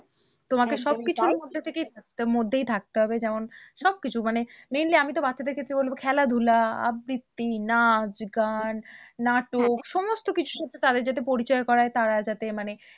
তোমাকে সব কিছুর মধ্যে থেকেই মধ্যেই থাকতে হবে, যেমন সবকিছু মানে mainly আমি তো বাচ্চাদের ক্ষেত্রে বলবো খেলাধুলা আবৃত্তি, নাচ, গান, নাটক সমস্ত কিছুর সাথে তাদের যাতে পরিচয় করায়, তারা যাতে মানে